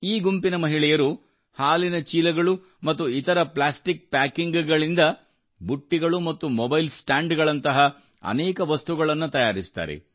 ಈ ಗುಂಪಿನ ಮಹಿಳೆಯರು ಹಾಲಿನ ಚೀಲಗಳು ಮತ್ತು ಇತರ ಪ್ಲಾಸ್ಟಿಕ್ ಪ್ಯಾಕಿಂಗ್ಗಳಿಂದ ಬುಟ್ಟಿಗಳು ಮತ್ತು ಮೊಬೈಲ್ ಸ್ಟ್ಯಾಂಡ್ಗಳಂತಹ ಅನೇಕ ವಸ್ತುಗಳನ್ನು ತಯಾರಿಸುತ್ತಾರೆ